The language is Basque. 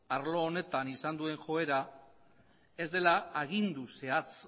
arlo honetan izan duen joera ez dela agindu zehatz